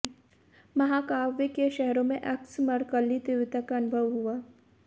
महाकाव्य के शहरों में एक्स मर्कल्ली तीव्रता का अनुभव हुआ